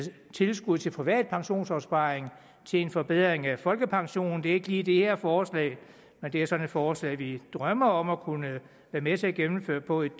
tilskud til private pensionsopsparinger til en forbedring af folkepensionen det er ikke lige det her forslag men det er sådan et forslag vi drømmer om at kunne være med til at gennemføre på et